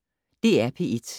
DR P1